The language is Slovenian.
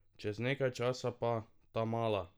Čez nekaj časa pa: "Tamala!